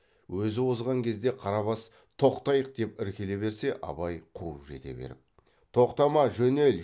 өзі озған кезде қарабас тоқтайық деп іркіле берсе абай қуып жете беріп тоқтама жөнел